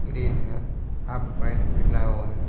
Green है half point बना हुआ है।